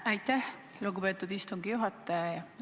Aitäh, lugupeetud istungi juhataja!